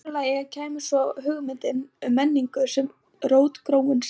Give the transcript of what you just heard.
í öðru lagi kæmi svo hugmyndin um menningu sem rótgróinn sið